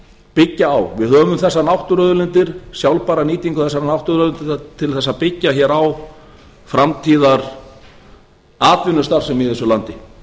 byggja á við höfum þessar náttúruauðlindir sjálfbæra nýtingu þessara náttúruauðlinda til að byggja á framtíðaratvinnustarfsemi í þessu landi